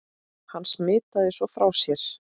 Hann smitaði svo frá sér.